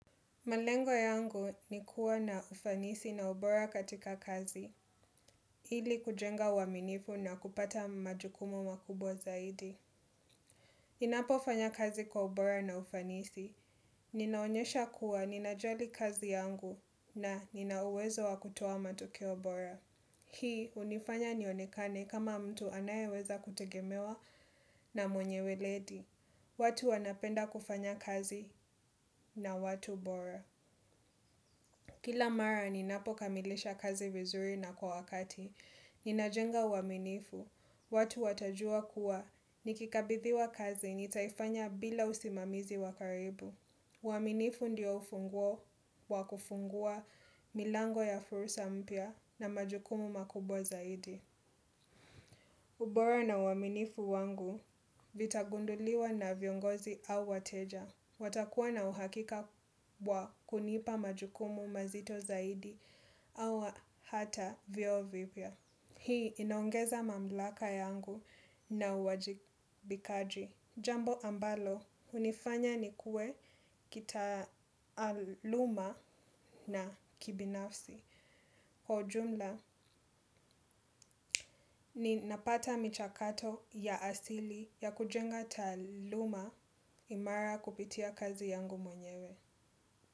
Malengo yangu ni kuwa na ufanisi na ubora katika kazi, ili kujenga waminifu na kupata majukumu makubwa zaidi. Ninapo fanya kazi kwa ubora na ufanisi, ninaonyesha kuwa nina jali kazi yangu na ninauwezo wa kutuwa matuki ubora. Hii hunifanya nionekane kama mtu anaye weza kutegemewa na mwenye weledi. Watu wanapenda kufanya kazi na watu bora. Kila mara ninapo kamilisha kazi vizuri na kwa wakati, ninajenga uaminifu, watu watajua kuwa nikikabidhiwa kazi nitaifanya bila usimamizi wakaribu. Uaminifu ndio ufunguo, wakufungua, milango ya fursa mpia na majukumu makubwa zaidi. Ubora na uaminifu wangu vitagunduliwa na viongozi au wateja. Watakuwa na uhakika wa kunipa majukumu mazito zaidi au hata vio vipya. Hii inaongeza mamlaka yangu na uwajibikaji. Jambo ambalo unifanya ni kue kitaaluma na kibinafsi. Kwa ujumla ninapata michakato ya asili ya kujenga taaluma imara kupitia kazi yangu mwenyewe.